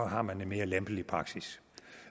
har man en mere lempelig praksis